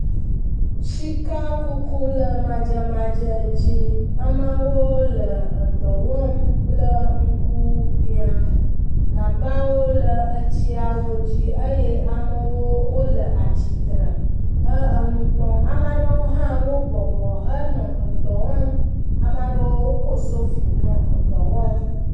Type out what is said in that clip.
Sikakuku le madzemadze dzi. Ameawo le edɔ wɔm kple ŋkubia. Gagbawo le etsiawo dzi eye amewo wole atsitre he enu kpɔm. Ame aɖewo hã wo bɔbɔ henɔ edɔ wɔm. Ame aɖewo woko sofi henɔ edɔ wɔm.